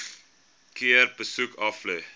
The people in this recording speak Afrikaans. keer besoek aflê